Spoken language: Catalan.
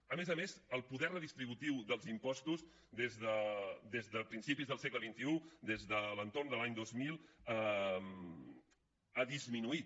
a més a més el poder redistributiu dels impostos des de principis del segle xxi des de l’entorn de l’any dos mil ha disminuït